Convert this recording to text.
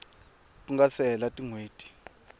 ku nga se hela tinhweti